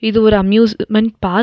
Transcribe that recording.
இது ஒரு amusement park .